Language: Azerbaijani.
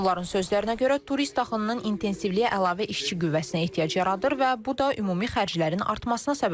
Onların sözlərinə görə, turist axınının intensivliyi əlavə işçi qüvvəsinə ehtiyac yaradır və bu da ümumi xərclərin artmasına səbəb olur.